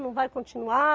Não vai continuar?